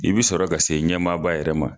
I bi sɔrɔ ka se ɲɛmaaba yɛrɛ ma.